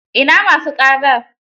Ina ma su ƙara?